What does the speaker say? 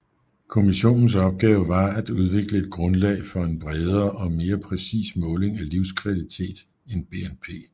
Kommissionens opgave var at udvikle et grundlag for en bredere og mere præcis måling af livskvalitet end BNP